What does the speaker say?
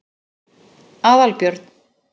Aðalbjörn